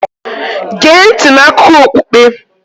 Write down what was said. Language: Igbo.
Gee ntị n'akụkọ okpukpe.